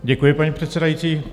Děkuji, paní předsedající.